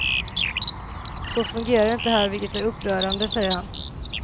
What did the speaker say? Så fungerar det inte här, vilket är upprörande, säger han.